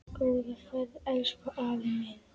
Góða ferð, elsku afi minn.